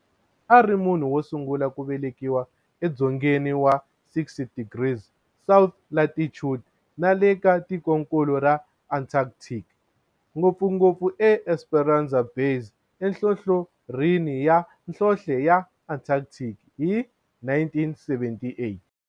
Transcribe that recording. A ri munhu wosungula ku velekiwa e dzongeni wa 60 degrees south latitude nale ka tikonkulu ra Antarctic, ngopfungopfu eEsperanza Base enhlohlorhini ya nhlonhle ya Antarctic hi 1978.